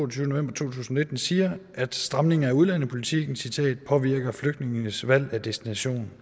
tusind og nitten siger at stramninger af udlændingepolitikken påvirker flygtningenes valg af destination